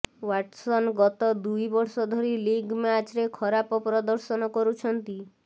Watson ଗତ ଦୁଇ ବର୍ଷ ଧରି ଲିଗ୍ ମ୍ୟାଚରେ ଖରାପ ପ୍ରଦର୍ଶନ କରୁଛନ୍ତି